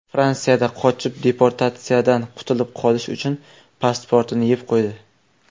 Fransiyada qochoq deportatsiyadan qutulib qolish uchun pasportini yeb qo‘ydi.